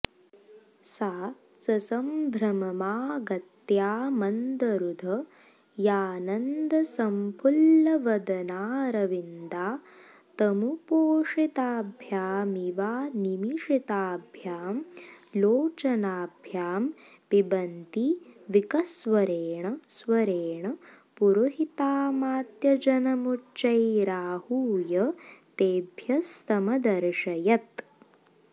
सा ससंभ्रममागत्यामन्दहृदयानन्दसंफुल्लवदनारविन्दा तमुपोषिताभ्यामिवानिमिषिताभ्यां लोचनाभ्यां पिबन्ती विकस्वरेण स्वरेण पुरोहितामात्यजनमुच्चैराहूय तेभ्यस्तमदर्शयत्